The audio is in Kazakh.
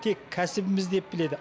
тек кәсібіміз деп біледі